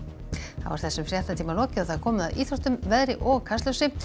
þá er þessum fréttatíma lokið og komið að íþróttum veðri og Kastljósi